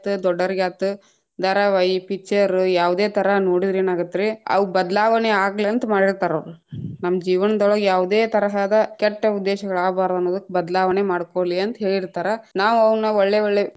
ದೊಡ್ಡೊರಿಗಾತ್ ಧಾರಾವಾಹಿ picture ಯಾವದೇ ತರಾ ನೋಡಿದ್ರ ಏನಾಗತ್ತರ್ರೀ, ಅವು ಬದಲಾವಣೆಯಾಗಲಂತ ಮಾಡಿತಾ೯ರವ್ರ, ನಮ್ಮ ಜೀವನದೊಳಗ್‌ ಯಾವದೇ ತರಹದ ಕೆಟ್ಟ ಉದ್ದೇಶಗಳು ಆಗ್ಬರದನ್ನಕ್ ಬದಲಾವಣೆ ಮಾಡ್ಕೋಲಿ ಅಂತ ಹೇಳಿತಾ೯ರ, ನಾವ್‌ ಅವನ್‌ ಒಳ್ಳೆ ಒಳ್ಳೆ.